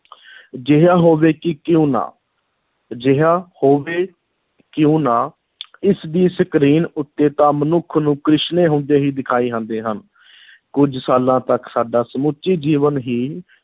ਅਜਿਹਾ ਹੋਵੇ ਕਿ ਕਿਉਂ ਨਾ, ਅਜਿਹਾ ਹੋਵੇ ਕਿਉਂ ਨਾ ਇਸ ਦੀ screen ਉੱਤੇ ਤਾਂ ਮਨੁੱਖ ਨੂੰ ਕ੍ਰਿਸ਼ਮੇ ਹੁੰਦੇ ਹੀ ਦਿਖਾਈ ਜਾਂਦੇ ਹਨ ਕੁੱਝ ਸਾਲਾਂ ਤੱਕ ਸਾਡਾ ਸਮੁੱਚੇ ਜੀਵਨ ਹੀ